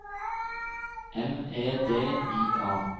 M E D I A